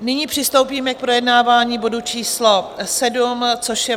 Nyní přistoupíme k projednávání bodu číslo 7, což je